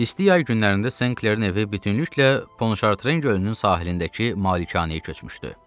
İsti yay günlərində Senklerin evi bütövlükdə Ponşartren gölünün sahilindəki malikanəyə köçmüşdü.